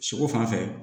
Sogo fan fɛ